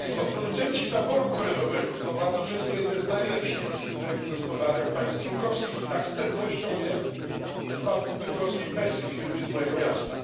Producenci taboru kolejowego to bardzo często jedna z najlepszych wizytówek gospodarek państw członkowskich i tak z pewnością jest w przypadku bydgoskiej Pesy firmy z mojego miasta.